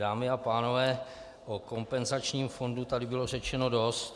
Dámy a pánové, o kompenzačním fondu tady bylo řečeno dost.